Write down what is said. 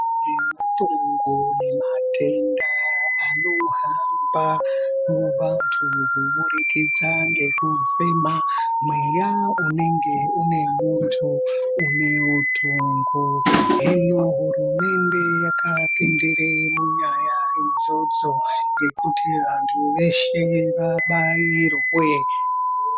Yemitongo nematenda anohamba muantu kubudikidza ngekufena mweya une muntu une utongo hino hurumende yakapindire munyaya idzodzo yekuti vantu veshe vabairwe.